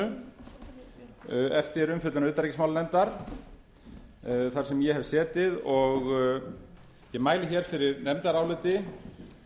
evrópusambandindinu eftir umfjöllun utanríkismálanefndar þar sem ég hef setið ég mæli fyrir nefndaráliti